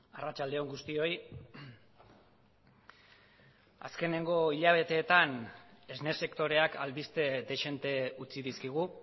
arratsalde on guztioi azkeneko hilabeteetan esne sektoreak albiste dezente utzi dizkigu